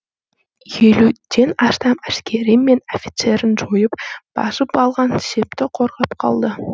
елуден астам әскері мен офицерін жойып басып алған шепті қорғап қалды